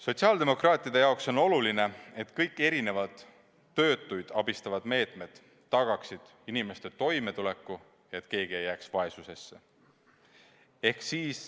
Sotsiaaldemokraatide jaoks on oluline, et kõik erinevad töötuid abistavad meetmed tagaksid inimeste toimetuleku, et keegi ei jääks vaesusesse.